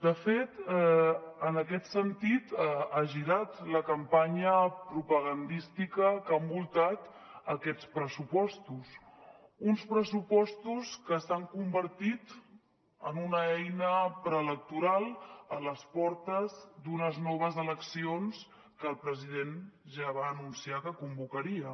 de fet en aquest sentit ha girat la campanya propagandística que ha envoltat aquests pressupostos uns pressupostos que s’han convertit en una eina preelectoral a les portes d’unes noves eleccions que el president ja va anunciar que convocaria